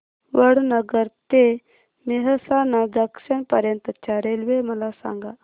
वडनगर ते मेहसाणा जंक्शन पर्यंत च्या रेल्वे मला सांगा